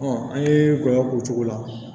an ye gɔyɔ k'o cogo la